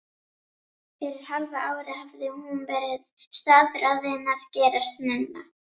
Fyrir hálfu ári hafði hún verið staðráðin að gerast nunna.